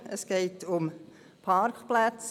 Es geht um Parkplätze.